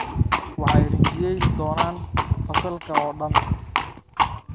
Waxay rinjiyeyni doonaan fasalka oo dhan